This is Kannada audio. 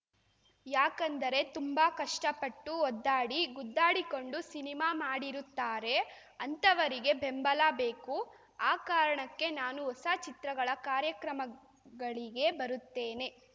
ಯಾಕೆಂದರೆ ತುಂಬಾ ಕಷ್ಟಪಟ್ಟು ಒದ್ದಾಡಿ ಗುದ್ದಾಡಿಕೊಂಡು ಸಿನಿಮಾ ಮಾಡಿರುತ್ತಾರೆ ಅಂಥವರಿಗೆ ಬೆಂಬಲ ಬೇಕು ಆ ಕಾರಣಕ್ಕೆ ನಾನು ಹೊಸ ಚಿತ್ರಗಳ ಕಾರ್ಯಕ್ರಮಗಳಿಗೆ ಬರುತ್ತೇನೆ